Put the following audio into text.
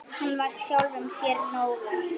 Hann var sjálfum sér nógur.